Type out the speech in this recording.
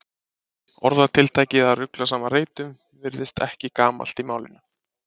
Orðatiltækið að rugla saman reytum virðist ekki gamalt í málinu.